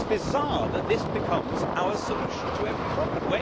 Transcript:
It is bizarre that this becomes our solution to every problem.